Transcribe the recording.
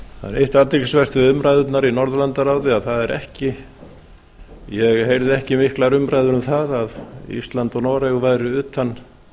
athyglisvert við umræðurnar í norðurlandaráði að ég heyrði ekki miklar umræður um það að ísland og noregur væru utan